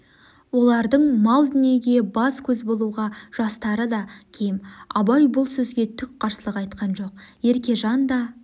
олардың мал-дүниеге бас-көз болуға жастары да кем абай бұл сөзге түк қарсылық айтқан жоқ еркежан да